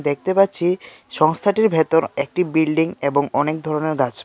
দেখতে পাচ্ছি সংস্থাটির ভেতর একটি বিল্ডিং এবং অনেক ধরনের গাছপালা.